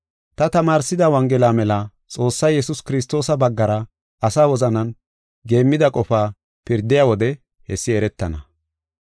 Ta tamaarsida Wongela mela Xoossay Yesuus Kiristoosa baggara asa wozanan geemmida qofaa pirdiya wode hessi eretana.